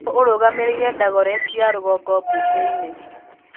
Nũũ ũrũgamĩrĩire Dagoretti ya rũgongo mbunge-inĩ?